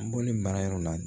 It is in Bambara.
Bɔlen baara yɔrɔ la